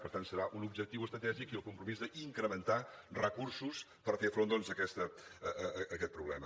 per tant serà un objectiu estratègic i el compromís d’incrementar recursos per fer front a aquest problema